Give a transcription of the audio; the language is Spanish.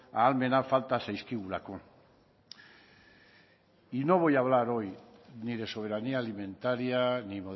ahalmena falta zaizkigulako y no voy a hablar hoy ni de soberanía alimentaria ni